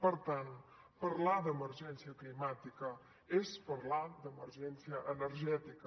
per tant parlar d’emergència climàtica és parlar d’emergència energètica